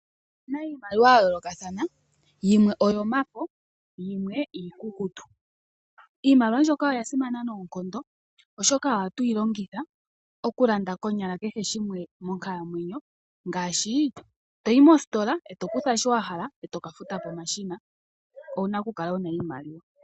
Opuna iimaliwa yayoolokathana, yimwe oyomafo omanga yimwe iikukutu. Iimaliwa oyasimana noonkondo oshoka ohatu yi longitha okulanda kehe shimwe konyala moonkalamwenyo dhetu ngaashi toyi moositola eto kutha sho wahala, etoka keshi futila. Onkene owuna okukala noshimaliwa.